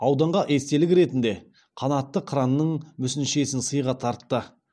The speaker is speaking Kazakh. ауданға естелік ретінде қанатты қыранның мүсіншесін сыйға тартты